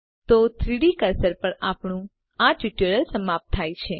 તો 3ડી કર્સર પર આપણું ટ્યુટોરીયલ સમાપ્ત થાય છે